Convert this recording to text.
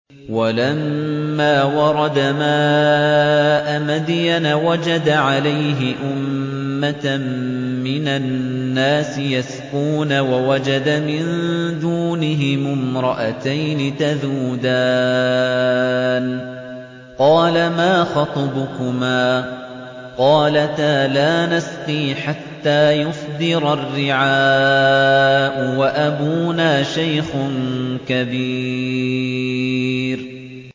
وَلَمَّا وَرَدَ مَاءَ مَدْيَنَ وَجَدَ عَلَيْهِ أُمَّةً مِّنَ النَّاسِ يَسْقُونَ وَوَجَدَ مِن دُونِهِمُ امْرَأَتَيْنِ تَذُودَانِ ۖ قَالَ مَا خَطْبُكُمَا ۖ قَالَتَا لَا نَسْقِي حَتَّىٰ يُصْدِرَ الرِّعَاءُ ۖ وَأَبُونَا شَيْخٌ كَبِيرٌ